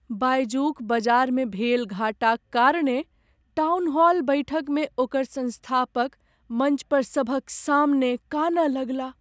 बायजू क बजारमे भेल घाटाक कारणेँ टाउनहॉल बैठकमे ओकर सँस्थापक मञ्चपर सभक सामने कानय लगलाह।